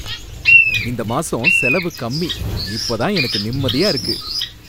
இந்த மாசம் செலவு கம்மி, இப்ப தான் எனக்கு நிம்மதியா இருக்கு.